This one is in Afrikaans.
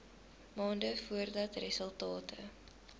maande voordat resultate